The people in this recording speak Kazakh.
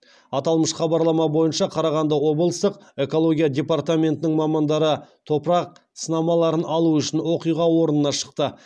аталмыш хабарлама бойынша қарағанды облыстық экология департаментінің мамандары топырақ сынамаларын алу үшін оқиға орнына шықты